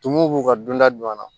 Tumuw b'u ka dunda don a la